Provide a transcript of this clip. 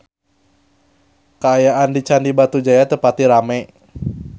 Kaayaan di Candi Batujaya teu pati rame